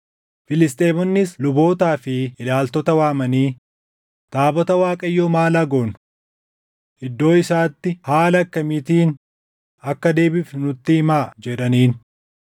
Filisxeemonnis lubootaa fi ilaaltota waamanii, “Taabota Waaqayyoo maal haa goonu? Iddoo isaatti haala akkamiitiin akka deebifnu nutti himaa” jedhaniin.